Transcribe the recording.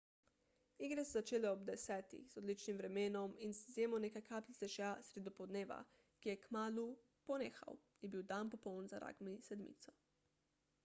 igre so se začele ob 10.00 z odličnim vremenom in z izjemo nekaj kapljic dežja sredi dopoldneva ki je kmalu ponehal je bil dan popoln za ragbi sedmico